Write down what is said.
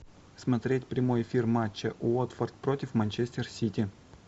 смотреть прямой эфир матча уотфорд против манчестер сити